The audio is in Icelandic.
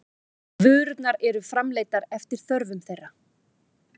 Vörurnar eru framleiddar eftir þörfum þeirra.